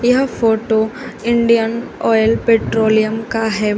यह photo Indian oil petroleum का है।